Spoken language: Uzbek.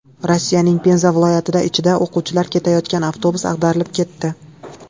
Rossiyaning Penza viloyatida ichida o‘quvchilar ketayotgan avtobus ag‘darilib ketdi.